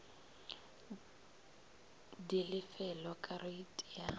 di lefelwa ka reiti ya